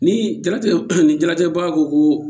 Ni jaratigɛ ni jaratigɛba ko